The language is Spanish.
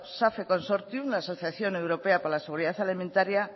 safe consortium asociación europea para la seguridad alimentaria